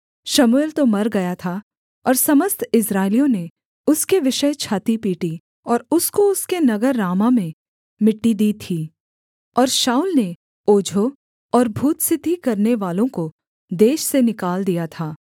शमूएल तो मर गया था और समस्त इस्राएलियों ने उसके विषय छाती पीटी और उसको उसके नगर रामाह में मिट्टी दी थी और शाऊल ने ओझों और भूतसिद्धि करनेवालों को देश से निकाल दिया था